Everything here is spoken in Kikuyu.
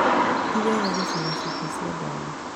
Ti wega gũcina cuba cia ndawa.